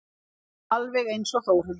Alveg einsog Þórhildur.